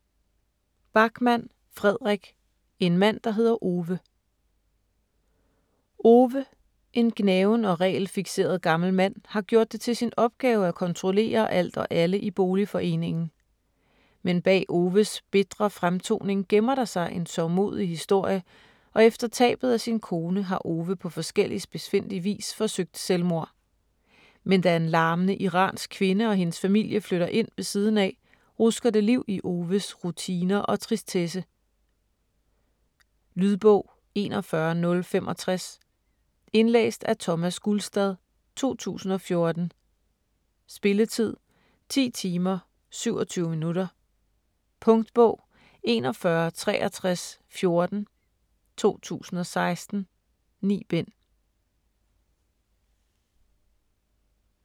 Backman, Fredrik: En mand der hedder Ove Ove, en gnaven og regelfikseret gammel mand, har gjort det til sin opgave at kontrollere alt og alle i boligforeningen. Men bag Oves bitre fremtoning gemmer der sig en sørgmodig historie og efter tabet af sin kone har Ove på forskellig spidsfindig vis forsøgt selvmord. Men da en larmende iransk kvinde og hendes familie flytter ind ved siden af, rusker det liv i Oves rutiner og tristesse. Lydbog 41065 Indlæst af Thomas Gulstad, 2014. Spilletid: 10 timer, 27 minutter. Punktbog 416314 2016. 9 bind.